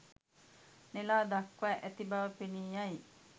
නෙලා දක්වා ඇති බව පෙනී යයි